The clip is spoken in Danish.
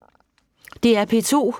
DR P2